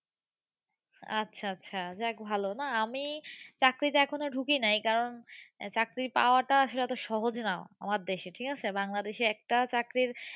আচ্ছা আচ্ছা যাক ভালো না আমি চাকরিতে এখনও ঢুকিনাই। কারণ, চাকরি পাওয়াটা আসলে এতো সহজ না আমার দেশে। ঠিক আছে। বাংলাদেশে একটা চাকরির